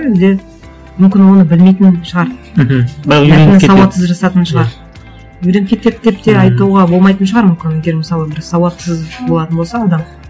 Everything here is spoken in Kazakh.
әлде мүмкін оны білмейтін шығар мхм сауатсыз жазатын шығар үйреніп кетеді деп де айтуға болмайтын шығар мүмкін егер мысалы бір сауатсыз болатын болса адам